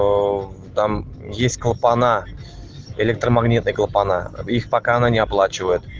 аа в там есть клапана электромагнитные клапана их пока она не оплачивает